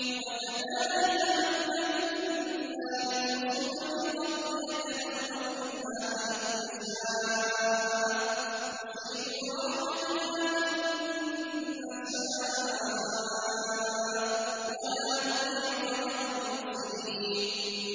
وَكَذَٰلِكَ مَكَّنَّا لِيُوسُفَ فِي الْأَرْضِ يَتَبَوَّأُ مِنْهَا حَيْثُ يَشَاءُ ۚ نُصِيبُ بِرَحْمَتِنَا مَن نَّشَاءُ ۖ وَلَا نُضِيعُ أَجْرَ الْمُحْسِنِينَ